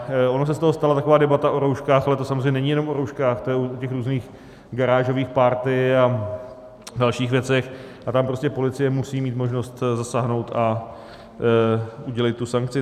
Ona se z toho stala taková debata o rouškách, ale to samozřejmě není jenom o rouškách, to je o těch různých garážových party a dalších věcech a tam prostě policie musí mít možnost zasáhnout a udělit tu sankci.